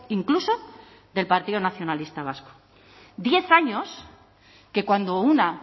incluso del partido nacionalista vasco diez años que cuando una